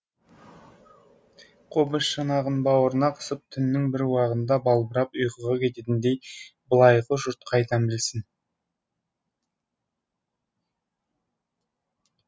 қобыз шанағын бауырына қысып түннің бір уағында балбырап ұйқыға кететіндігін былайғы жұрт қайдан білсін